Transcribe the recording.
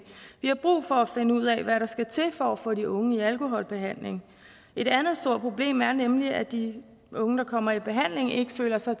vi har brug for at finde ud af hvad der skal til for at få de unge i alkoholbehandling et andet stort problem er nemlig at de unge der kommer i behandling ikke føler sig